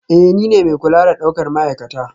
Ee, nine mai kula da daukar ma'aikata